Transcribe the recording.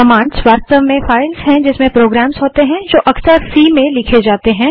commands वास्तव में files हैं जिसमें प्रोग्राम्स होते हैं जो अक्सर सी में लिखी जाती हैं